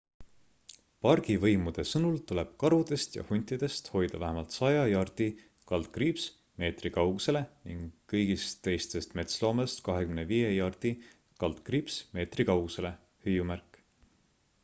pargivõimude sõnul tuleb karudest ja huntidest hoida vähemalt 100 jardi/meetri kaugusele ning kõigist teistest metsloomadest 25 jardi/ meetri kaugusele!